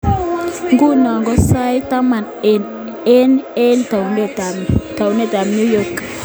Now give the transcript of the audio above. Nguno ko sait taman ak aeng eng taunitab New York.